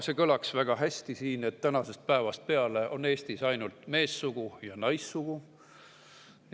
See kõlaks siin väga hästi, et tänasest päevast peale on Eestis ainult meessugu ja naissugu.